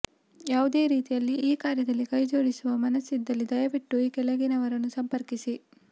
ಯಾವುದೇ ರೀತಿಯಲ್ಲಿ ಈ ಕಾರ್ಯದಲ್ಲಿ ಕೈಜೋಡಿಸುವ ಮನಸ್ಸಿದ್ದಲ್ಲಿ ದಯವಿಟ್ಟು ಈ ಕೆಳಗಿನವರನ್ನು ಸಂಪರ್ಕಿಸಿ